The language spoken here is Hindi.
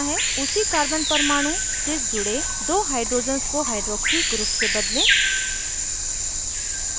उसी carbon परमाणु से जुड़े दो hydrogens को hydroxy group से बदलें